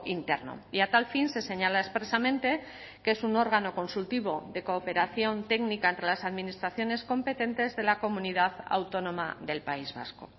interno y a tal fin se señala expresamente que es un órgano consultivo de cooperación técnica entre las administraciones competentes de la comunidad autónoma del país vasco